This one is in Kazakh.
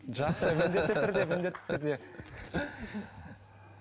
жақсы міндетті түрде міндетті түрде